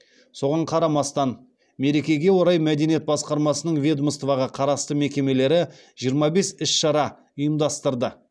соған қарамастан мерекеге орай мәдениет басқармасының ведомствоға қарасты мекемелері жиырма бес іс шара ұйымдастырды